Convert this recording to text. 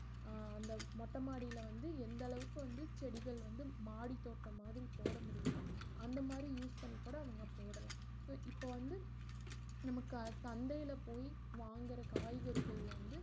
அஹ் அந்த மொட்ட மாடில வந்து எந்த அளவுக்கு வந்து செடிகள் வந்து மாடி தோட்டம் மாதிரி போடமுடியுமோ அந்த மாறி use பண்ணிக்கூட அவங்க போடலாம் so இப்ப வந்து நமக்கு அ~ சந்தையில போயி வாங்குற காய்கறிகள வந்து